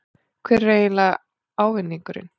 Hver er eiginlega ávinningurinn?